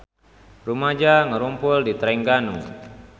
Rumaja ngarumpul di Trengganu